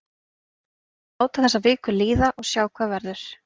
Ég ætla að láta þessa viku líða og sjá hvað verður.